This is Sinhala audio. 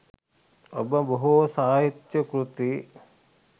ඔබ බොහෝ සාහිත්‍ය කෘති